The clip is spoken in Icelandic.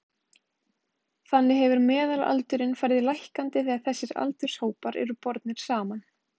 Þannig hefur meðalaldurinn farið lækkandi þegar þessir aldurshópar eru bornir saman.